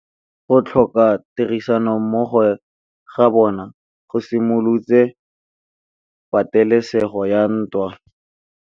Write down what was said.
Go tlhoka tirsanommogo ga bone go simolotse patêlêsêgô ya ntwa.